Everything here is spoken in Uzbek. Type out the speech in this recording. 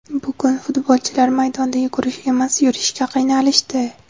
Bugun futbolchilar maydonda yugurish emas, yurishga qiynalishdi.